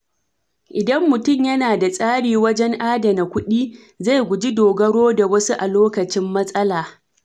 Idan mutum yana da tsari wajen adana kuɗi, zai guji dogaro da wasu a lokacin matsala.